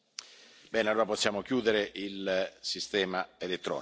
Bene allora possiamo chiudere il sistema elettronico.